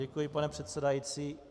Děkuji, pane předsedající.